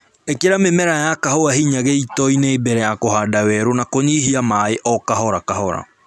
Ĩkĩra mĩmera ya kahũa hinya gĩitoinĩ mbere ya kũhanda werũ na kũnyihia maĩĩ o kahora kahora